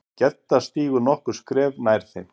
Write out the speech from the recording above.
Gedda stígur nokkur skref nær þeim.